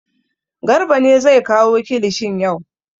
Garba ne zai kawo kilishin yau.